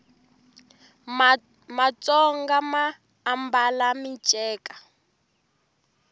matsonga ma ambala miceka